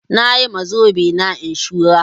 Nayi wa zobe na inshurar